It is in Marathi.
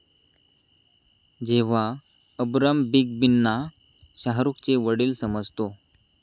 जेव्हा अबराम बिग बींना शाहरूखचे वडील समजतो